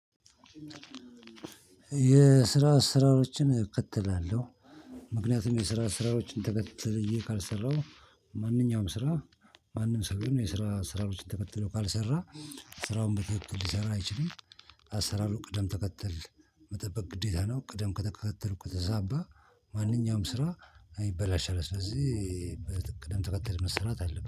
የስራ አሰራሮችን እከተላለሁ። ምክንያቱም የስራ አሰራሮችን ተከትዬ ካልሰራው ማንኛውም ስራ ማንም ሰው ቢሆን የስራ አሰራሮችን ተከትሎ ካልሰራ ስራውን በትክክል ሊሰራ አይችልም። አሰራሩ ቅደም ተከተል መጠበቅ ግዴታ ነው። ቅደም ተከተሉ ከተዛባ ማንኛውም ስራ ይበላሻል። ስለዚህ በቅደም ተከተል መሰራት አለብህ